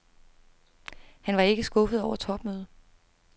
Han var ikke skuffet over topmødet.